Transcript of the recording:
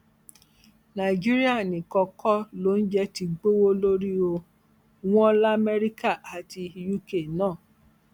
nàìjíríà nìkan kọ loúnjẹ ti gbówó lórí o wọn lamẹríkà àti uk náà